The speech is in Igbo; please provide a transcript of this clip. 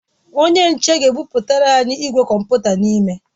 Onye nche ga ebụbatara anyi igwe kọmputa n'ime